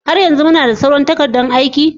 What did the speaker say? Har yanzu muna da sauran takardan aiki?